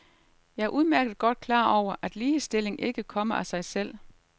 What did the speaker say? Jeg er udmærket godt klar over, at ligestilling ikke kommer af sig selv.